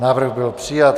Návrh byl přijat.